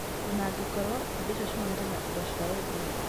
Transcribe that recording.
O na angĩkorũo indo icio ciumanĩte na indo cia ndũire.